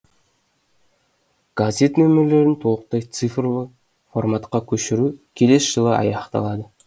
газет нөмірлерін толықтай цифрлы форматқа көшіру келесі жылы аяқталады